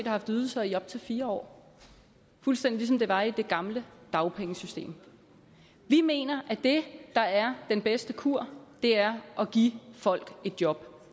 haft ydelser i op til fire år fuldstændig som det var i det gamle dagpengesystem vi mener at det der er den bedste kur er at give folk et job og